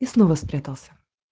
и снова спрятался